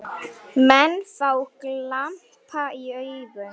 Menn fá glampa í augun.